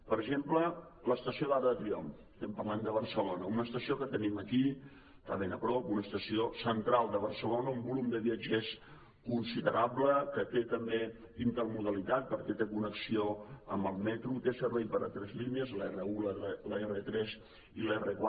per exemple l’estació d’arc de triomf estem parlant de barcelona una estació que tenim aquí està ben a prop una estació central de barcelona un volum de viatgers considerable que té també intermodalitat perquè té connexió amb el metro té servei per a tres línies l’r1 l’r3 i l’r4